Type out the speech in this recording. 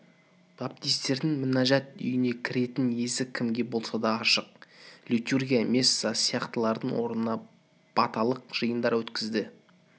баптисттердің мінәжәт үйіне кіретін есік кімге болса да ашық литургия месса сияқтылардың орнына баталық жиындар өткізеді